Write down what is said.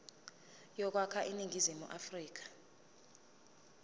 yokwakha iningizimu afrika